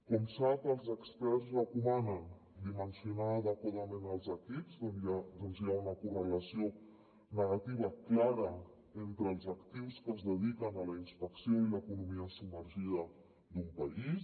com sap els experts recomanen dimensionar adequadament els equips doncs hi ha una correlació negativa clara entre els actius que es dediquen a la inspecció i l’economia submergida d’un país